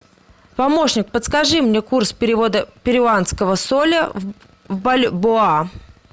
помощник подскажи мне курс перевода перуанского соля в бальбоа